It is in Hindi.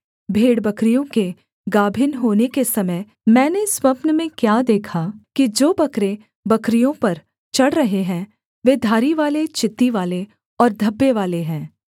भेड़बकरियों के गाभिन होने के समय मैंने स्वप्न में क्या देखा कि जो बकरे बकरियों पर चढ़ रहे हैं वे धारीवाले चित्तीवाले और धब्बेवाले हैं